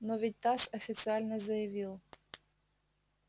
но ведь тасс официально заявил